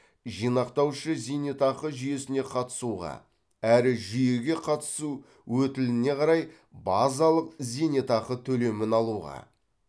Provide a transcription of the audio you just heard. жинақтаушы зейнетақы жүйесіне қатысуға әрі жүйеге қатысу өтіліне қарай базалық зейнетақы төлемін алуға